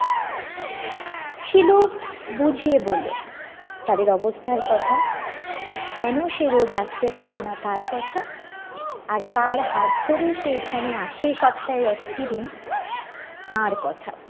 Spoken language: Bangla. শিলু বুঝিয়ে বললো তাদের অবস্থার কথা কেন সে রোজ আস্তে পারেনা তার কথা আর কার হাত ধরে সে এখানে আসে সপ্তাহে একটি দিন তার কথা